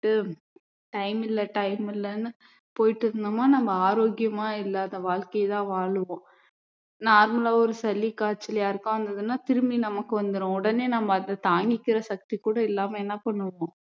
கிட்டு time இல்ல time இல்லன்னு போயிட்டு இருந்தோம்னா நம்ம ஆரோக்கியமா இல்லாத வாழ்க்கை தான் வாழுவோம் normal ஆ ஒரு சளி காய்ச்சல் யாருக்காவது வந்ததுனா திரும்பி நமக்கு வந்துரும். உடனே நம்ம அதை தாங்கிக்கற சக்தி கூட இல்லாம என்ன பண்ணுவோம்